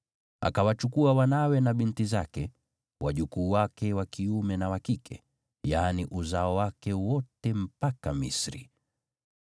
Akawachukua wanawe na binti zake, wajukuu wake wa kiume na wa kike, yaani uzao wake wote mpaka Misri.